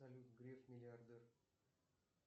салют греф миллиардер